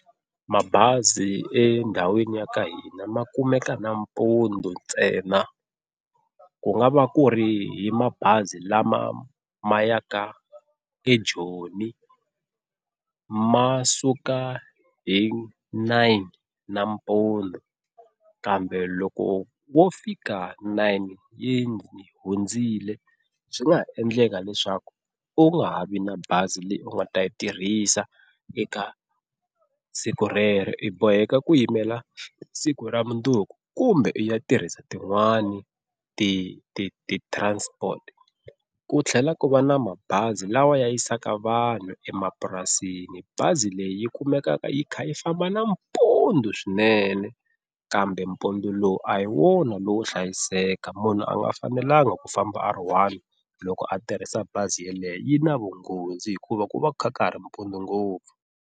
Mabazi endhawini ya ka hina ma kumeka nampundzu ntsena ku nga va ku ri hi mabazi lama ma yaka eJoni ma suka hi nine nampundu kambe loko wo fika nine yi hundzile swi nga ha endleka leswaku u nga ha vi na bazi leyi u nga ta yi tirhisa eka siku rero i boheka ku yimela siku ra mundzuku kumbe u ya tirhisa tin'wani ti ti ti-transport. Ku tlhela ku va na mabazi lawa ya yisaka vanhu emapurasini, bazi leyi yi kumekaka yi kha yi famba nampundzu swinene kambe mpundu lowu a hi wona lowo hlayiseka munhu a nga fanelangi ku famba a ri one loko a tirhisa bazi yeleyo yi na vunghozi hikuva ku va ku kha ka ha ri mpundzu ngopfu.